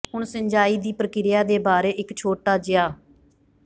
ਹੁਣ ਸਿੰਚਾਈ ਦੀ ਪ੍ਰਕਿਰਿਆ ਦੇ ਬਾਰੇ ਇੱਕ ਛੋਟਾ ਜਿਹਾ